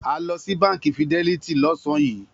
A lọ sí Báńkì Fidelity lọ́sàn-án yìí.